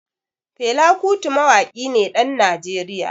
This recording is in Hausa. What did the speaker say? Fela Kuti Mawaƙi ne ɗan Najeriya.